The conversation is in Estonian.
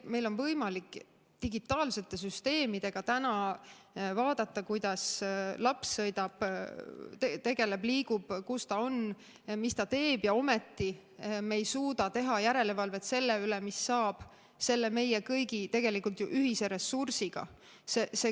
Meil on võimalik digitaalsete süsteemidega täna vaadata, kuidas laps sõidab, tegeleb, liigub, kus ta on, mis ta teeb, ja ometi me ei suuda teha järelevalvet selle üle, mis saab selle meie kõigi ühise ressursiga.